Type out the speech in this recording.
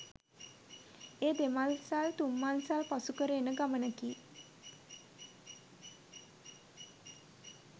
එය දෙමංසල් තුංමංසල් පසු කර එන ගමනකි.